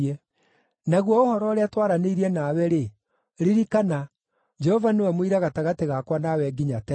Naguo ũhoro ũrĩa twaranĩirie nawe-rĩ, ririkana, Jehova nĩwe mũira gatagatĩ gakwa nawe nginya tene.”